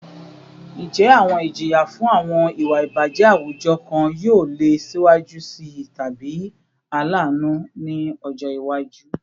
Njẹ awọn ijiya fun awọn iwa ibajẹ awujọ kan yoo le siwaju sii tabi alaanu ni ọjọ iwaju?